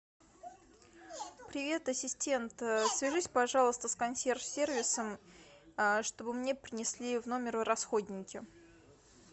привет ассистент свяжись пожалуйста с консьерж сервисом чтобы мне принесли в номер расходники